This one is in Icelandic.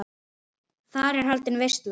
Þar er haldin veisla.